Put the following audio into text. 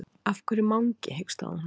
Af hverju Mangi? hikstaði hún.